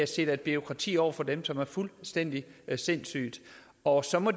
sætter et bureaukrati op for dem som er fuldstændig sindssygt og så må